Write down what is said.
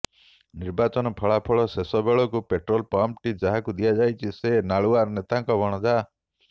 ନିର୍ବାଚନ ଫଳାଫଳ ଶେଷ ବେଳକୁ ପେଟ୍ରୋଲ ପମ୍ପଟି ଯାହାକୁ ଦିଆଯାଇଛି ସେ ନାଳୁଆ ନେତାଙ୍କ ଭଣଜା